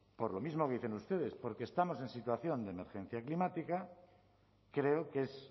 por lo mismo que dicen ustedes porque estamos en situación de emergencia climática creo que es